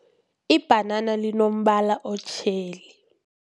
Ibhanana linombala otjheli.